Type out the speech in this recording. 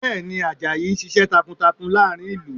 Bẹ́ẹ̀ ni, Àjàyí ń ṣiṣẹ́ takuntakun láàrin ìlú